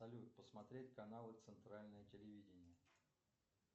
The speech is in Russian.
салют посмотреть каналы центральное телевидение